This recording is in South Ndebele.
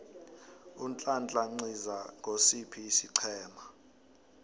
unhlanhla nciza ngosiphi isiqhema